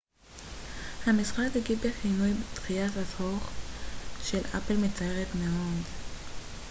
המשרד הגיב בכינוי דחיית הדוח של אפל מצערת מאוד